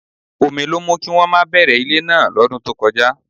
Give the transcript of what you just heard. Omi ló mú kí wọ́n má bẹ̀rẹ̀ ilé náà lọ́dún tó kọjá